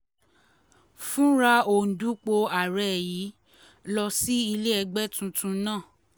fúnra òǹdúpọ̀ ààrẹ yìí lọ sí ilé ẹgbẹ́ tuntun náà